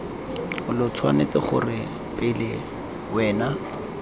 lo tshwanetse gore pele wena